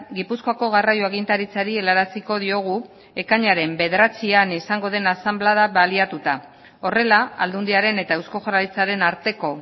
gipuzkoako garraio agintaritzari helaraziko diogu ekainaren bederatzian izango den asanblada baliatuta horrela aldundiaren eta eusko jaurlaritzaren arteko